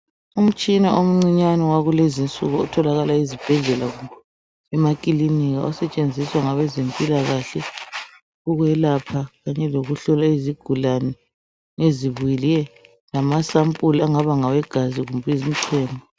Umtshina omncinyane wakulezi insuku otholakala ezibhedlela kumbe emakilinika osetshenziswa ngabezempilakahle ukwelapha kanye lokuhlola izigulane ezibuyileyo lamasampuli abangaba ngawegazi kumbe ezemichemo.